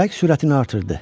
Külək sürətini artırdı.